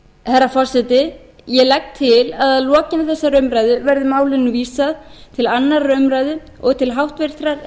herra forseti ég legg til að að lokinni þessari umræðu verði málinu vísað til annarrar umræðu og til háttvirtrar